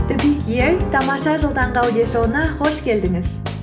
тамаша жыл таңғы аудиошоуына қош келдіңіз